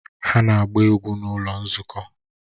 Ha na-agba egwu n'ụlọ nzukọ